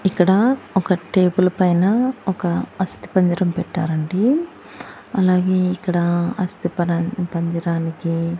ఇక్కడ ఒక టేబుల్ పైన ఒక అస్తిపంజరం పెట్టారండి అలాగే ఇక్కడ అస్తి పరన్ పంజరానికి.